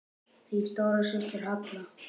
Þín stóra systir, Halla.